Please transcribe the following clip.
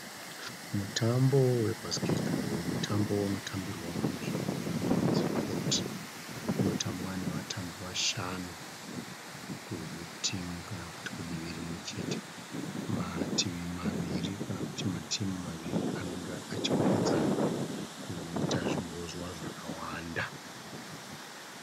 Mutambo webhasiketi bho. Mutambo unotambirwa munzvimbo inonzi koti. Unotambwa nevatambi vashanu kutimu kana kuti kudivi rimwe chete. Mativi maviri kana kuti matimu maviri anenge achikwikwidzana kuita zvibozwa zvakawanda.